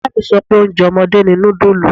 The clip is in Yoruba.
Ìyá mi sọ pé oúnjẹ ọmọdé ni nudulu.